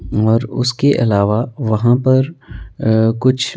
और उसके अलावा वहां परअह कुछ--